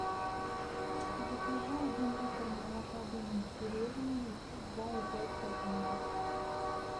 закажи один литр молока домик в деревне два и пять процентов